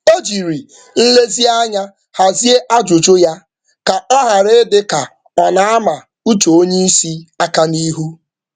um Ọ jiri nlezianya hazie ajụjụ ya um ka ọ ghara ịdị ka ịma aka n’echiche oga.